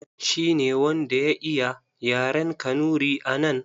Shi ne wanda ya iya yaren Kanuri a nan.